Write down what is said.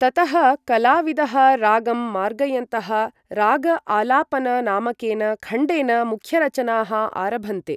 ततः कलाविदः रागं मार्गयन्तः राग आलापन नामकेन खण्डेन मुख्यरचनाः आरभन्ते।